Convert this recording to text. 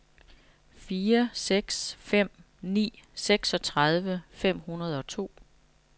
fire seks fem ni seksogtredive fem hundrede og to